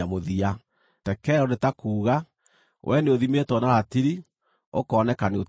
TEKEL nĩ ta kuuga: Wee nĩũthimĩtwo na ratiri, ũkoneka nĩũtigairie.